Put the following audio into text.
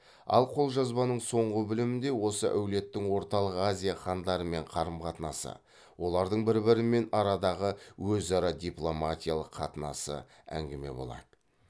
ал қолжазбаның соңғы бөлімінде осы әулеттің орталық азия хандарымен қарым қатынасы олардың бір бірімен арадағы өзара дипломатиялық қатынасы әңгіме болады